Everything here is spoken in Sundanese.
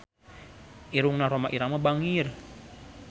Irungna Rhoma Irama bangir